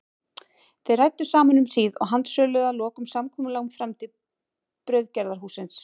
Þeir ræddu saman um hríð og handsöluðu að lokum samkomulag um framtíð brauðgerðarhússins.